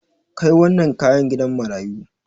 Kai wannan kayan gidan marayu.